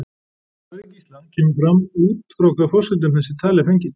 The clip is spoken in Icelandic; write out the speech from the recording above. Í svari Gísla kemur fram út frá hvaða forsendum þessi tala er fengin.